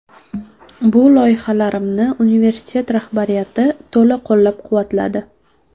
Bu loyihalarimni universitet rahbariyati to‘la qo‘llab-quvvatladi.